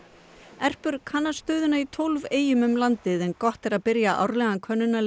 Erpur kannar stöðuna í tólf eyjum um landið en gott er að byrja árlegan